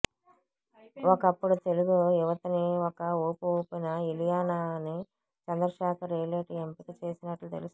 ఒకప్పుడు తెలుగు యువతని ఒక ఊపు ఊపిన ఇలియానాని చంద్రశేఖర్ యేలేటి ఎంపిక చేసినట్లు తెలుస్తోంది